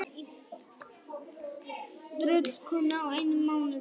Nína verður mjórri og mjórri en ég breytist í tröllkonu á einum mánuði.